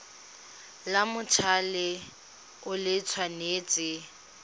la mothale o le tshwanetse